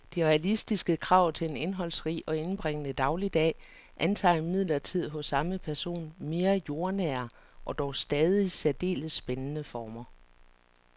De realistiske krav til en indholdsrig og indbringende dagligdag antager imidlertid hos samme person mere jordnære og dog stadig særdeles spændende former.